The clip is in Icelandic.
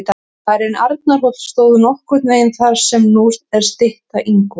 Bærinn Arnarhóll stóð nokkurn veginn þar sem nú er stytta Ingólfs.